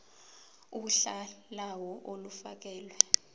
uhla lawo olufakelwe